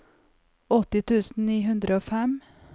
åtti tusen ni hundre og fem